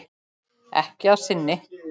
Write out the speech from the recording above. Ekki að sinni.